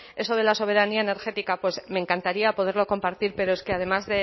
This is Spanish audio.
eso de la soberanía energética pues me encantaría poderlo compartir pero es que además